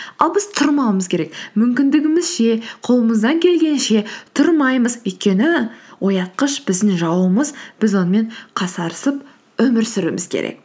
ал біз тұрмауымыз керек мүмкіндігімізше қолымыздан келгенше тұрмаймыз өйткені оятқыш біздің жауымыз біз онымен қасарысып өмір сүруіміз керек